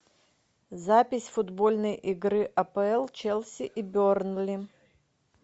запись футбольной игры апл челси и бернли